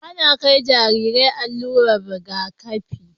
Ana kai jariri allurar Riga kafi